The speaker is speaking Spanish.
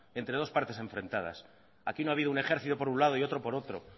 entre dos partes enfrentadas aquí no ha habido un ejercito por un lado y otro por otro